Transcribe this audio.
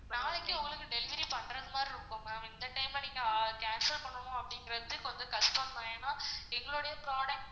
நாளைக்கு உங்களுக்கு delivery பண்ற மாதிரி இருக்கும் ma'am இந்த time ல நீங்க cancel பண்ணனும் அப்படிங்குறது கொஞ்சம் கஷ்டம் தான் ஏன்னா எங்களுடைய product